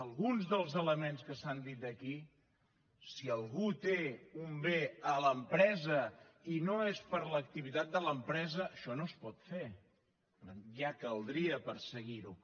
alguns dels elements que s’han dit aquí si algú té un bé a l’empresa i no és per a l’activitat de l’empresa això no es pot fer ja caldria perseguir ho